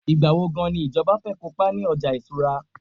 igbawo gan ni ìjọba fẹ kópa ni ọjà ìṣura